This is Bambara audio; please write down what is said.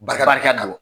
Barika barika dɔ la